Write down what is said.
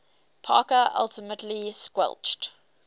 parker ultimately squelched